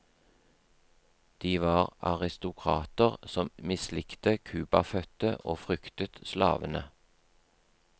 De var aristokrater som mislikte cubafødte og fryktet slavene.